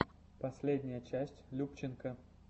последняя часть любченко